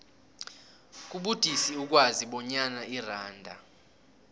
kubudisi ukwazi bonyana iranda